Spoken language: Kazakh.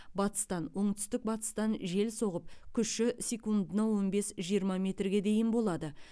батыстан оңтүстік батыстан жел соғып күші секундына он бес жиырма метрге дейін болады